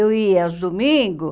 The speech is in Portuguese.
Eu ia aos domingos,